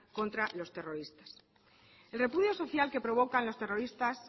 contra los terroristas el repudio social que provoca los terroristas